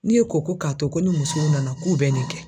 N'i e ko ko k'a to ko ni musow nana k'u bɛ nin kɛ